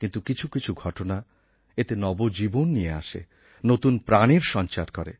কিন্তু কিছু কিছু ঘটনা এতে নবজীবন নিয়ে আসে নতুন প্রাণের সঞ্চার করে